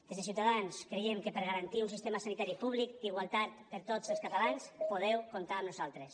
des de ciutadans creiem que per garantir un sistema sanitari públic d’igualtat per tots els catalans podeu comptar amb nosaltres